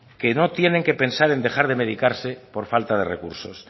que no tienen que pensar en dejar de medicarse por falta de recursos